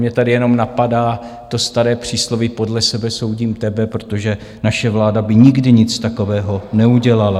Mě tady jenom napadá to staré přísloví "podle sebe soudím tebe", protože naše vláda by nikdy nic takového neudělala.